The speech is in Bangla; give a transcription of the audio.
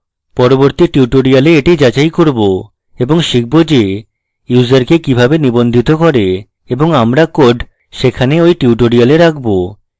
পরবর্তী tutorial এটি যাচাই করব এবং শিখব যে ইউসারকে কিভাবে নিবন্ধিত করে এবং আমরা code সেখানে we tutorial রাখবো